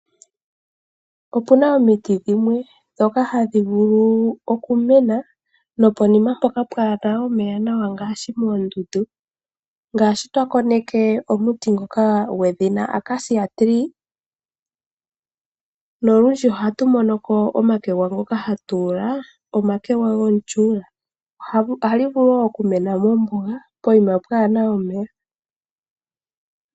Opuna omiti dhimwe ndhoka hadhi vulu okumena pomahala mpoka pwaana omeya nawa ngaashi moondundu, ngaashi twa koneke omuti ngoka gwedhina Acacia tree, nolundji ohatu mono ko omakwega ngoka hatu ula omakwega gomutyuula. Ohagu vulu wo okumena mombuga poyima pwaana omeya.